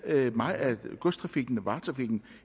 meget af godstrafikken og varetrafikken